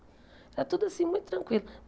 Era tudo assim, muito tranquilo.